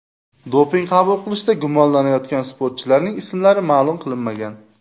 Doping qabul qilishda gumonlanayotgan sportchilarning ismlari ma’lum qilinmagan.